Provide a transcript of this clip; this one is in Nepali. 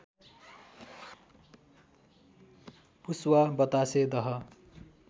पुस्वा बतासे दह